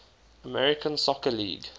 american soccer league